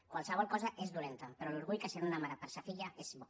qualsevol cosa és dolenta però l’orgull que sent una mare per sa filla és bo